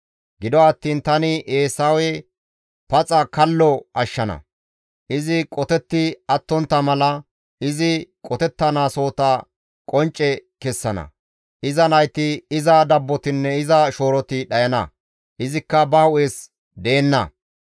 Gido attiin tani Eesawe paxa kallo ashshana; izi qotetti attontta mala izi qotettanaasohota tani qoncce kessana; iza nayti, iza dabbotinne iza shooroti dhayana; izikka ba hu7es deenna.